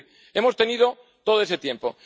Es decir, hemos tenido todo ese tiempo.